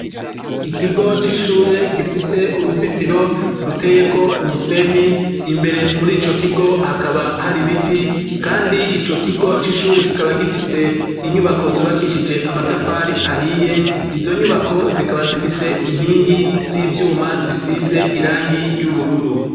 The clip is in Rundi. ikigo c'ishure gifise uruzitiro ruteye ko umusenyi imbere muri ico kigo hakaba hari biti kandi ico kigo c'ishure kikaba gifise inyubako zubakishije amatafari ahiye izo nyubako zikaba zifise inkingi z'ivyuma zisize irangi ry'ubururu